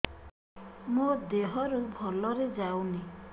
ମୋ ଦିହରୁ ଭଲରେ ଯାଉନି